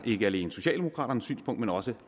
ikke alene socialdemokraternes synspunkt men også